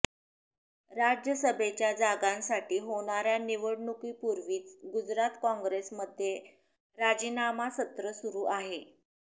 राज्यसभेच्या जागांसाठी होणाऱ्या निवडणुकीपूर्वीच गुजरात काँग्रेसमध्ये राजीनामासत्र सुरु आहे